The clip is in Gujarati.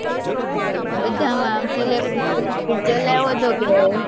બધા મા ચલાવ્યો હતો કે